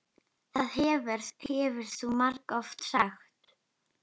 Það hefur þú margoft sagt.